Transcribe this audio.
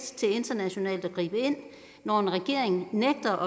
internationalt til at gribe ind når en regering nægter